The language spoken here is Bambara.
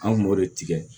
An kun b'o de tigɛ